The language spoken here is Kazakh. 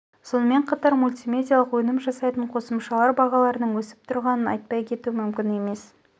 сонымен қатар мультимедиалық өнім жасайтын қосымшалар бағаларының өсіп тұрғанын айтпай кету мүмкін емес